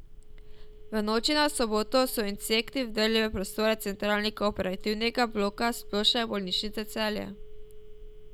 V noči na soboto so insekti vdrli v prostore centralnega operativnega bloka Splošne bolnišnice Celje.